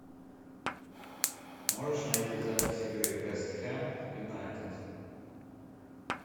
можешь найти запись игры вест хэм юнайтед